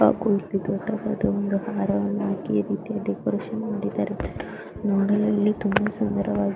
ಹಾಗು ಇಲ್ಲಿ ದೊಡ್ಡದಾದ ಸಮಾರಂಭಡೆಕೋರೇಷನ್ ಮಾಡಿದ್ದಾರೆ ನೋಡಲುಇಲ್ಲಿ ತುಂಬಾ ಸುಂದರವಾಗಿ--.